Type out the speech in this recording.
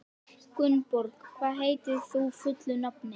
Gunnborg, hvað heitir þú fullu nafni?